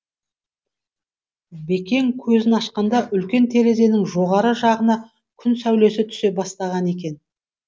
бекең көзін ашқанда үлкен терезенің жоғары жағына күн сәулесі түсе бастаған екен